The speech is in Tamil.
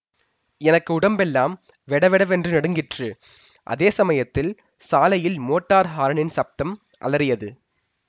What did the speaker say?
எனக்கு உடம்பெல்லாம் வெடவெடவென்று நடுங்கிற்று அதே சமயத்தில் சாலையில் மோட்டார் ஹாரனின் சப்தம் அலறியது